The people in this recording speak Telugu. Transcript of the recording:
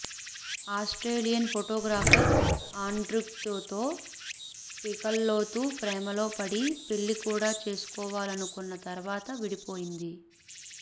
ఆస్ట్రేలియన్ ఫోటోగ్రఫర్ ఆండ్య్రూతో పీకల్లోతు ప్రేమలో పడి పెళ్లి కూడా చేసుకోవాలనుకున్న తర్వాత విడిపోయింది